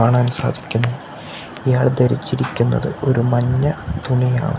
കാണാൻ സാധിക്കുന്നു ഇയാൾ ധരിച്ചിരിക്കുന്നത് ഒരു മഞ്ഞ തുണിയാണ്.